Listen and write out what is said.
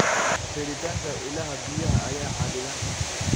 Helitaanka ilaha biyaha ayaa xaddidan.